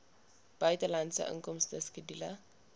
buitelandse inkomste skedule